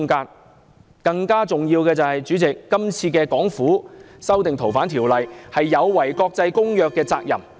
主席，更重要的是，港府今次修訂《條例》，是有違國際公約下的責任。